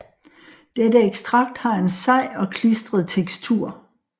Dette ekstrakt har en sej og klistret tekstur